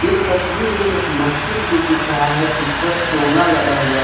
इस तस्वीर में एक मस्जिद भी दिख रहा है जिस पर चोगा लगा हुआ है।